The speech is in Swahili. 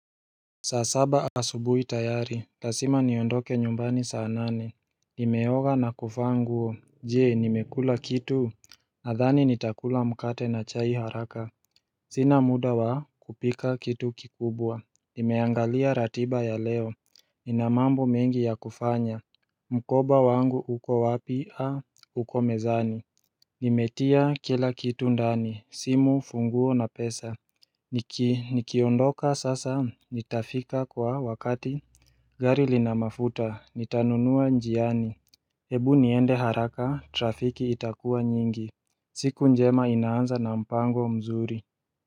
Saa saba asubuhi tayari, lazima niondoke nyumbani saa nane Nimeoga na kuvaa nguo, je nimekula kitu? Nadhani nitakula mkate na chai haraka Sina muda wa kupika kitu kikubwa Nimeangalia ratiba ya leo, inamambo mengi ya kufanya Mkoba wangu uko wapi a uko mezani Nimetia kila kitu ndani, simu funguo na pesa Niki nikiondoka sasa nitafika kwa wakati gari linamafuta nitanunua njiani Hebu niende haraka trafiki itakuwa nyingi siku njema inaanza na mpango mzuri.